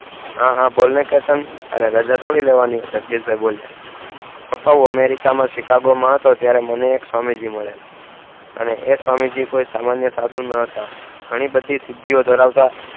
હા હા બોલ ને કેતન તારે રાજા થોડી લેવાની હોય જગદીશ ભાઈ બોલિયાં પપ્પા હું america માં શિકાગો માં હતો ત્યારે મને એક સ્વામી જી માળીયા અને એ સ્વામી જી કોઈ સામાન્ય સાધુ નોતા ઘણી ન બધી શક્તિ ધરાવતા હતા